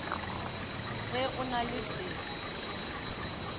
ge go na le se